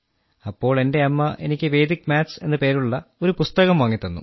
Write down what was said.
അപ്പോൾ എന്റെ അമ്മ എനിക്ക് വേദിക് മാത്സ് എന്ന് പേരുള്ള ഒരു പുസ്തകം വാങ്ങിത്തന്നു